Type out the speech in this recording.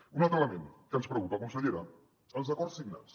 un altre element que ens preocupa consellera els acords signats